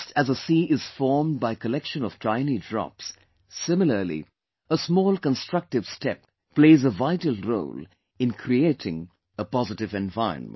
Just as a sea is formed by collection of tiny drops, similarly,a small constructive step, plays a vital role in creating a positive environment